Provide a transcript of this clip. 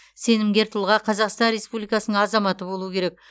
сенімгер тұлға қазақстан республикасының азаматы болуы керек